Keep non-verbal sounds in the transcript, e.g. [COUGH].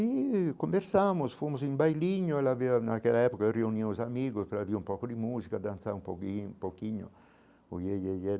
E conversamos, fomos em bailinho, ela veio naquela época reunimos os amigos para ouvir um pouco de música, dançar um pouquinho pouquinho. [UNINTELLIGIBLE]